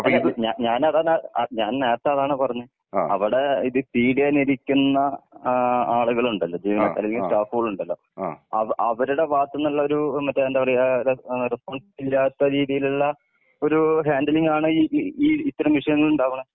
ഉം ഉം അല്ല ഞാ ഞാൻ ഞാൻ അതാണ് ഞാൻ നേരത്തെ അതാണ് പറഞ്ഞെ അവിടെ ഇത് ഫീഡ്യ്യാൻ ഇരിക്കുന്ന ഏഹ് ആളുകളുണ്ടല്ലോ ജീവനക്കാർ അല്ലെങ്കി സ്റ്റാഫുകളുണ്ടലോ അവ അവരുടെ ഭാഗത്തുന്നുള്ള ഒരു മറ്റേ എന്താ പറയാ ഏഹ് റെസ് റെസ്പോൺസിബിലിറ്റി ഇല്ലാത്ത രീതിയിലുള്ള ഒരു ഹാൻഡിലിംഗ് ആണ് ഈ ഈ ഇത്തരം വിഷയങ്ങൾ ഉണ്ടാവുന്നത്.